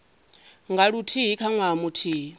nga luthihi kha ṅwaha muthihi